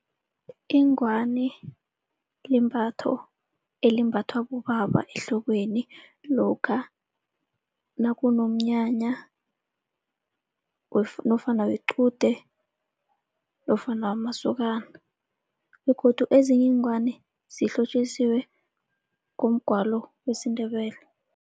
Ingwani limbatho elimbathwa bobaba ehlokweni lokha nakunomnyanya nofana wequde nofana wamasokana. Begodu ezinye iingwani zihlotjisiwe ngomgwalo wesiNdebele.